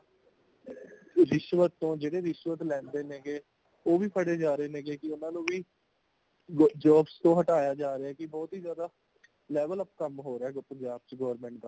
ਰਿਸ਼ਵਤ ਤੋਂ ਜਿਹੜੇ ਰਿਸ਼ਵਤ ਲੇਂਦੇ ਨੇ ਗੇ ਉਹ ਵੀ ਫੜੇ ਜਾ ਰਹੇ ਨੇ ਗੇ ਕੇ ਉਨ੍ਹਾਂਨੂੰ ਵੀ , jobs ਤੋਂ ਹਟਾਇਆ ਜਾ ਰਹੀਆਂ ਹੈ | ਕਿ ਬਹੁਤ ਹੈ ਜ਼ਿਆਦਾ level up ਕੰਮ ਹੋਰਿਹਾ ਹੈ punjab ਵਿੱਚ government ਦਾ